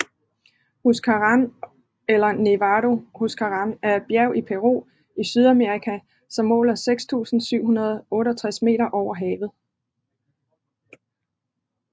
Huascarán eller Nevado Huascarán er et bjerg i Peru i Sydamerika som måler 6768 meter over havet